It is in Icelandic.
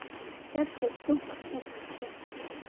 Hjartað dunk dunk.